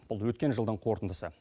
бұл өткен жылдың қорытындысы